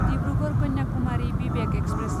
Dibrugarh Kanyakumari Vivek express